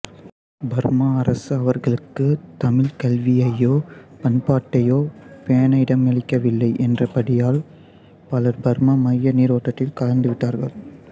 Burma அரசு அவர்களுக்கு தமிழ்க் கல்வியையோ பண்பாட்டையோ பேண இடமளிக்கவில்லை என்ற படியால் பலர் பர்மா மைய நீரோட்டத்தில் கலந்துவிட்டார்கள்